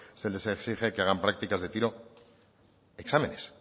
se les exige que hagan prácticas de tiro exámenes